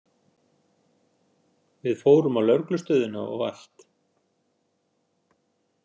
Við fórum á lögreglustöðina og allt.